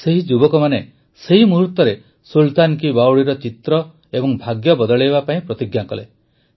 ସେହି ଯୁବକମାନେ ସେହି ମୁହୂର୍ତରେ ସୁଲତାନ କୀ ବାୱଡିର ଚିତ୍ର ଓ ଭାଗ୍ୟ ବଦଳାଇବା ପାଇଁ ପ୍ରତିଜ୍ଞା କଲେ